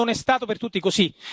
Non è stato per tutti così.